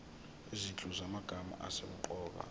izinhlu zamagama asemqoka